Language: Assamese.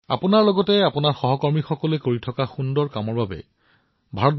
সুৰেখা জী আপুনি সকলো সহকৰ্মী নাৰ্ছ আৰু চিকিৎসালয়ৰ কৰ্মচাৰীৰ সৈতে উৎকৃষ্ট কাম কৰি আছে